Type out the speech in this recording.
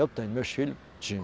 Eu tenho, meus filho